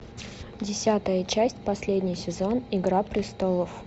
десятая часть последний сезон игра престолов